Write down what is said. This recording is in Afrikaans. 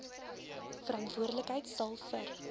verantwoordelikheid sal vir